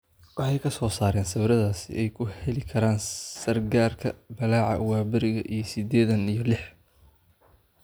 Waxay ka soo saareen sawirradaas si ay u heli karaan sargaarka, ballaca waaberiga ee sidedeen iyo lix.